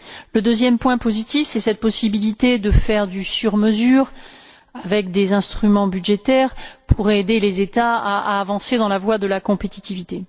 Le deuxième point positif, c'est cette possibilité de faire du sur mesure, avec des instruments budgétaires pour aider les États à avancer dans la voie de la compétitivité.